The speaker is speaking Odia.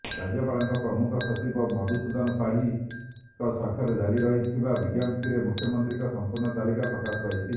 ରାଜ୍ୟପାଳଙ୍କ ପ୍ରମୁଖ ସଚିବ ମଧୁସୂଦନ ପାଢ଼ୀଙ୍କ ସ୍ୱାକ୍ଷରରେ ଜାରି ହୋଇଥିବା ବିଜ୍ଞପ୍ତିରେ ମନ୍ତ୍ରୀମାନଙ୍କର ସଂପୂର୍ଣ୍ଣ ତାଲିକା ପ୍ରକାଶ ପାଇଛି